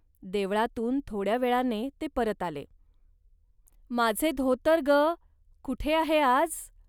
देवळातून थोड्या वेळाने ते परत आले. माझे धोतर, ग, कुठे आहे आज